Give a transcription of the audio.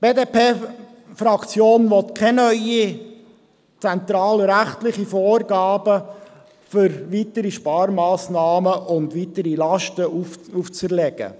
Die BDP-Fraktion will keine neuen zentralrechtlichen Vorgaben für weitere Sparmassnahmen und um weitere Lasten aufzuerlegen.